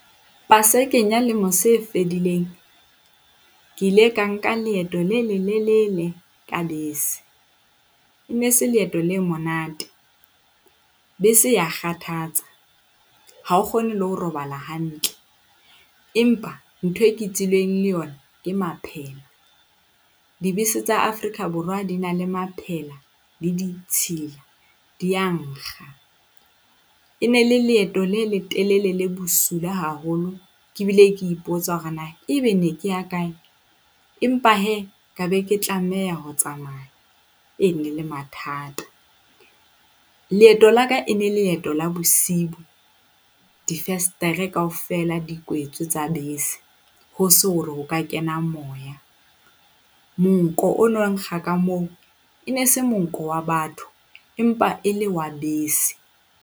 Pasekeng ya lemo se fedileng, ke ile ka nka leeto le lelelele ka bese. E ne se leeto le monate, bese e a kgathatsa ha o kgone le ho robala hantle, empa ntho e ke tswileng le yona ke maphele. Dibese tsa Afrika Borwa di na le maphela di ditshila. Di a nkga. E ne e le leeto le letelele le bosula haholo. Ke bile ke ipotsa hore na e be ne ke ya kae, empa hee ka be ke tlameha ho tsamaya, e ne le mathata. Leeto la ka e ne leeto la bosibu. Difenstere kaofela di kwetswe tsa bese. Ho se hore ho ka kena moya, monko o no nkga ka moo. E ne e se monko wa batho empa e le wa bese.